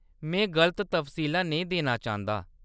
में गलत तफसीलां नेईं देना चांह्‌‌‌दा।